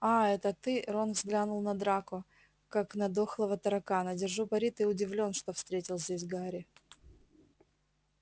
аа это ты рон взглянул на драко как на дохлого таракана держу пари ты удивлён что встретил здесь гарри